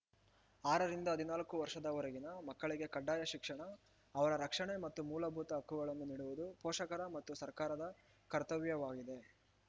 ಆರರಿಂದ ಹದಿನಾಲ್ಕು ವರ್ಷದವರೆಗಿನ ಮಕ್ಕಳಿಗೆ ಕಡ್ಡಾಯ ಶಿಕ್ಷಣ ಅವರ ರಕ್ಷಣೆ ಮತ್ತು ಮೂಲಭೂತ ಹಕ್ಕುಗಳನ್ನು ನೀಡುವುದು ಪೋಷಕರ ಮತ್ತು ಸರ್ಕಾರದ ಕರ್ತವ್ಯವಾಗಿದೆ